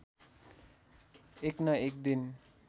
एक न एक दिन